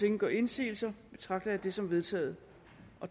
ingen gør indsigelse betragter jeg det som vedtaget